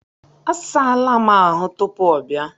A saala m ahụ tupuu ọ bịa.